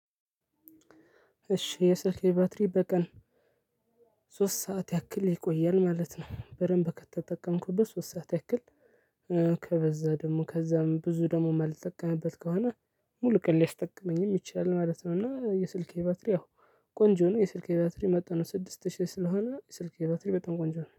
እሺ የስልኬ ባትሪ በቀን ሶስት ሰዓት ያክል ይቆያል ማለት ነው። በደምብ ከተጠቀምኩበት ሶስት ሰዓት ያክል ከበዛ ደግሞ ከዛም ብዙ ደግሞ የማልጠቀምበት ከሆነ ሙሉ ቀን ሊያስጠቅመኝም ይችላል ማለት ነው እና የስልኬ ባትሪ ያው ቆንጆ ነው የስልኬ ባትሪ መጠኑ ስድስት ሺህ ስለሆነ ስልክ ባትሪ በጣም ቆንጆ ነው።